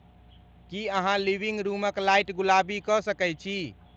की अहाँलिविंग रूमक लाइट गुलाबी क सके छी